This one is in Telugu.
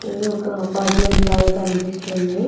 ఇది ఒక అపార్ట్మెంట్ లాగా కనిపిస్తుంది.